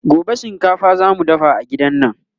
gobe shinkafa zamu dafa a gidan nan